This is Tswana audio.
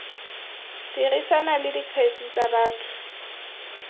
dirisana le dikgetse tsa batho